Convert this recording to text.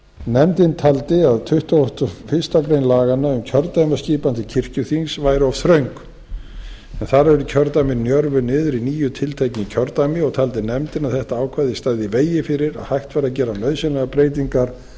nefndin taldi að tuttugasta og fyrstu grein laganna um kjördæmaskipun til kirkjuþings væri of þröng þar eru kjördæmin njörvuð niður í níu tiltekin kjördæmi og taldi nefndin að þetta ákvæði stæði í vegi fyrir að hægt væri að gera nauðsynlegar breytingar